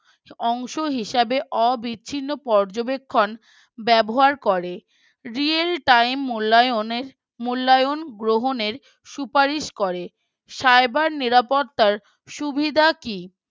অংশ হিসেবে অবিচ্ছিন্ন পর্যবেক্ষণ ব্যবহার করে Real time মূল্যায়নের মূল্যায়ন গ্রহণের সুপারিশ করে। cyber নিরাপত্তার সুবিধা কি?